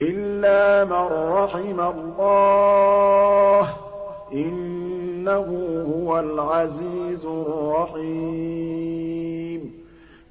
إِلَّا مَن رَّحِمَ اللَّهُ ۚ إِنَّهُ هُوَ الْعَزِيزُ الرَّحِيمُ